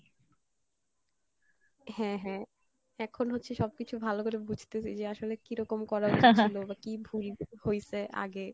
হ্যাঁ হ্যাঁ এখন হচ্ছে সবকিছু ভালো করে বুঝতেছি যে আসলে কীরকম করা উচিৎ ছিলো বা কী ভুল হইসে আগে,